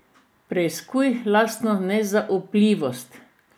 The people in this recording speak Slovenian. Preiskuj lastno nezaupljivost.